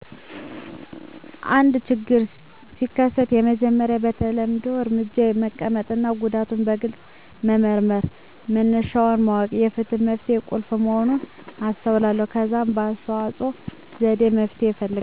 አንድ ችግር ሲከሰት፣ የመጀመሪያው የተለመደ እርምጃዬ መቀመጥና ጉዳዩን በግልጽ መመርመር መነሻውን ማወቅ የፍትሕ መፍትሄ ቁልፍ መሆኑን አስተውሏለሁ። ከዛም በአስተዋጽኦ ዘዴ መፍትሄ እፈልጋለሁ።